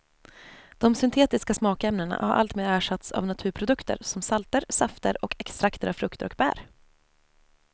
De syntetiska smakämnena har alltmer ersatts av naturprodukter som salter, safter och extrakter av frukter och bär.